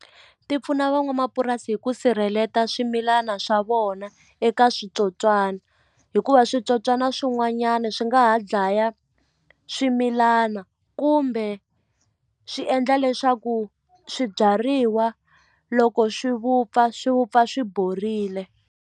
Ti pfuna van'wamapurasi hi ku sirheleta swimilana swa vona eka switsotswana hikuva switsotswana swin'wanyana swi nga ha dlaya swimilana kumbe swi endla leswaku swibyariwa loko swi vupfa swi vupfa swi borile.